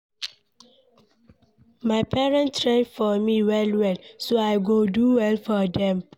My parents try for me well well so I go do well for dem.